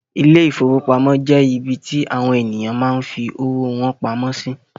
Ile-ìfowópamó jẹ ibì tí àwọn ènìyàn máa ń fí owó wọn pamọ́ sí